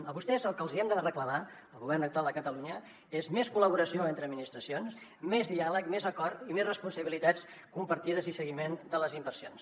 a vostès el que els hi hem de reclamar al govern actual de catalunya és més col·laboració entre administracions més diàleg més acord més responsabilitats compartides i seguiment de les inversions